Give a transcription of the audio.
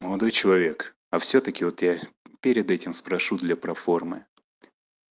молодой человек а всё-таки вот я перед этим спрошу для проформы